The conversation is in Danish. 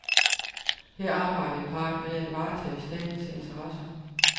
Her arbejdede parret med at varetage statens interesser.